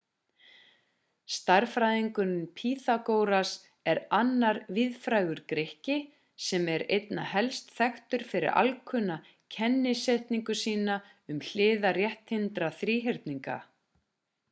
stærðfræðingurinn pýþagóras er annar víðfrægur grikki sem er einna helst þekktur fyrir alkunna kennisetningu sína um hliðar rétthyrndra þríhyrninga